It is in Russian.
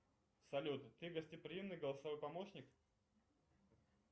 салют ты гостеприимный голосовой помощник